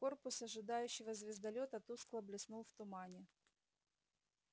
корпус ожидающего звездолёта тускло блеснул в тумане